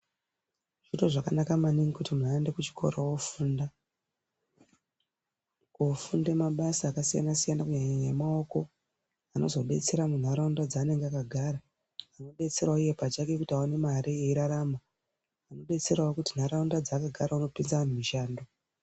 Zviro zvakanaka maningi kuti muntu aende kuchikora oofunda. Koofunde mabasa akasiyana-siyana kunyanya emaoko. Anozodetsera muntaraunda dzaanenge akagara. Odetserawo kuti iye awane mare, eirarama. Detserawo kuti ntaraunda dzaanogara unopinza anhu mishando.